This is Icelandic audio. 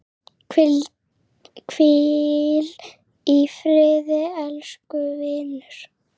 Hvíl í friði, elsku vinur.